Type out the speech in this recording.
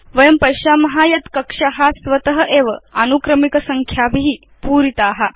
वयं पश्याम यत् कक्षा स्वत एव आनुक्रमिक संख्याभि पूरिता